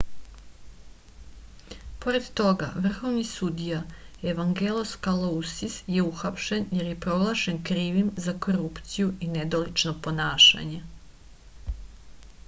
pored toga vrhovni sudija evangelos kalousis je uhapšen jer je proglašen krivim za korupciju i nedolično ponašanje